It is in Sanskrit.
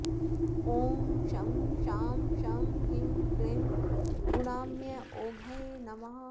ॐ शं शां षं ह्रीं क्लीं गुणाम्योघये नमः